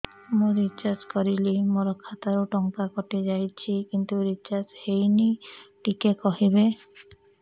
ମୁ ରିଚାର୍ଜ କରିଲି ମୋର ଖାତା ରୁ ଟଙ୍କା କଟି ଯାଇଛି କିନ୍ତୁ ରିଚାର୍ଜ ହେଇନି ଟିକେ କହିବେ